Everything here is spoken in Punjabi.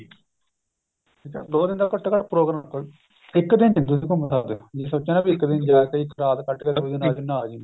ਠੀਕ ਹੈ ਦੋ ਦਿਨ ਦਾ ਘੱਟੋ ਘੱਟ ਪ੍ਰੋਗਰਾਮ ਰੱਖੋ ਇੱਕ ਦਿਨ ਚ ਨੀ ਤੁਸੀਂ ਘੁੰਮ ਸਕਦੇ ਜੇ ਸੋਚਿਆ ਨਾ ਇੱਕ ਦਿਨ ਜਾ ਕੇ ਇੱਕ ਰਾਤ ਅਗਲੇ ਦਿਨ ਆ ਜਾਂਦੇ ਨਾ ਜੀ ਨਾ